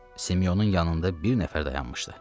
Simeyonun yanında bir nəfər dayanmışdı.